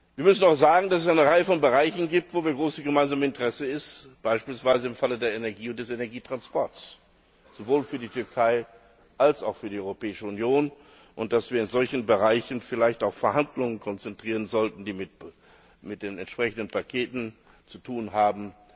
Wir müssen auch sagen, dass es eine Reihe von Bereichen gibt, wo ein großes gemeinsames Interesse besteht beispielsweise im Falle der Energie und des Energietransports sowohl für die Türkei als auch für die Europäische Union, und dass wir in solchen Bereichen vielleicht auch Verhandlungen konzentrieren sollten, die mit den entsprechenden Paketen zu tun haben.